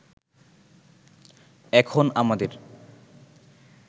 এখন আমাদের